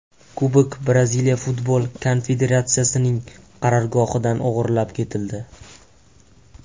Kubok Braziliya futbol konfederatsiyasining qarorgohidan o‘g‘irlab ketildi.